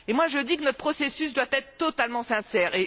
J'estime que notre processus doit être totalement sincère.